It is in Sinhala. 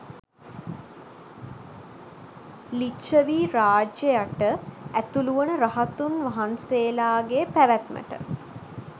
ලිච්ඡවී රාජ්‍යය යට ඇතුළුවන රහතුන් වහන්සේලාගේ පැවැත්මට